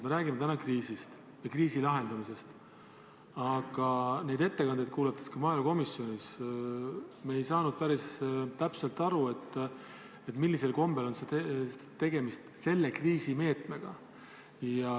Me räägime täna kriisist ja kriisi lahendamisest, aga neid ettekandeid kuulates me ka maaelukomisjonis ei saanud päris täpselt aru, millisel kombel on tegemist selle kriisi meetmega.